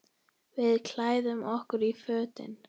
Við klæðum okkur í fötin.